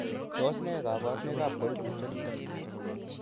Tos nee koborunoikab koimutioniton?